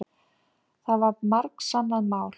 Það var margsannað mál.